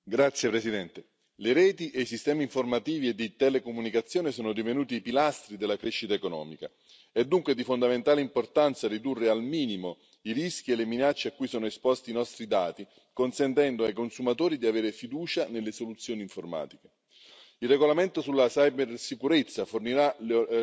Signor Presidente, onorevoli colleghi, le reti e i sistemi informativi e di telecomunicazione sono divenuti pilastri della crescita economica. È dunque di fondamentale importanza ridurre al minimo i rischi e le minacce a cui sono esposti i nostri dati consentendo ai consumatori di avere fiducia nelle soluzioni informatiche. Il regolamento sulla cibersicurezza fornirà